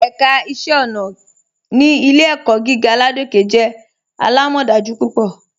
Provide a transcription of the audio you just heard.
Ẹ̀ká iṣẹ̀ ọ̀nà ni Ilẹ̀-ẹ̀kọ̀ gígà Ládòkè jẹ́ alámọdájú púpọ.